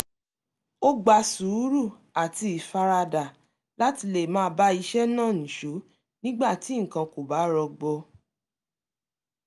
ó gba sùúrù àti ìfaradà láti lè máa bá iṣẹ́ náà nìṣó nígbà tí nǹkan kò bá rọgbọ